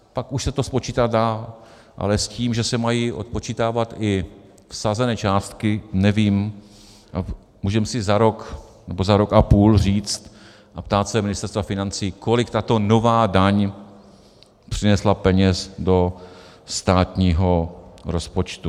Pak už se to spočítat dá, ale s tím, že se mají odpočítávat i vsazené částky, nevím, můžeme si za rok nebo za rok a půl říct a ptát se Ministerstva financí, kolik tato nová daň přinesla peněz do státního rozpočtu.